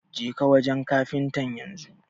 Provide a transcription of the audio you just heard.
Jeka wanjen kafintan yanzu